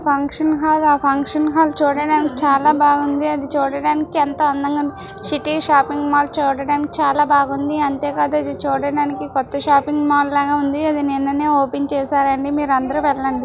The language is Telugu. ఫంక్షన్ హాల్ ఆ ఫంక్షన్ హాల్ చూడడానికి చాలా బాగుంది.ఇది చూడడానికి ఎంత అందంగా ఉంది. సిటీ షాపింగ్ మాల్ చూడడానికి చాలా బాగుంది. అంతే కాదు అది చూడడానికి కొత్త షాపింగ్ మాల్ లాగా ఉంది. ఇది నిన్ననే ఓపెన్ చేశారండీ మీరు అందరూ వెళ్ళండి.